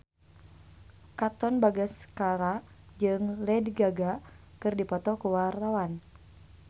Katon Bagaskara jeung Lady Gaga keur dipoto ku wartawan